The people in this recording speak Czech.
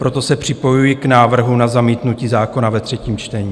Proto se připojuji k návrhu na zamítnutí zákona ve třetím čtení.